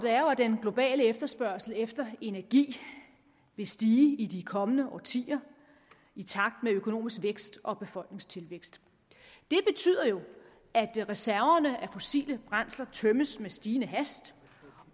er jo at den globale efterspørgsel efter energi vil stige i de kommende årtier i takt med økonomisk vækst og befolkningstilvækst det betyder at reserverne af fossile brændsler tømmes med stigende hast